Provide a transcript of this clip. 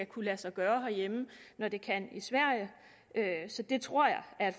kunne lade sig gøre herhjemme når det kan i sverige så det tror jeg er